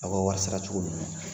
Aw ka wari sara cogo nunnu.